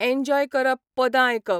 Enjoy करप, पदां आयकप.